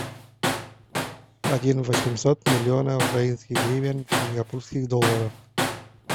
один восемьсот миллиона украинских гривен в сингапурских долларах